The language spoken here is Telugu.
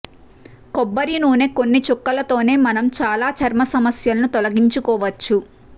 కొబ్బరి నూనె కొన్ని చుక్కలతోనే మనం చాలా చర్మ సమస్యలను తొలగించుకోవచ్చు